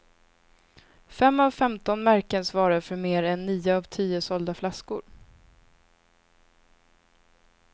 Fem av femton märken svarar för mer än nio av tio sålda flaskor.